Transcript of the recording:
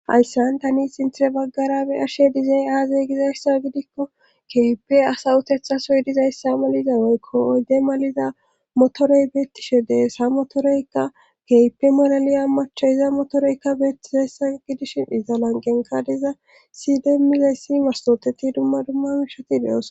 ayssan tani sinthire baggara be ashe dizey aazey gizayssa gidikko keype asawutethasoy dizayssa maliza woykko oydde maliza motorey beettishe deessa motoreykka keype molaliya macha iza motoreykka beettisayssa gidishi iza lanqenka diza sidemizeyssi mastoteti dumma dumma mishati de7os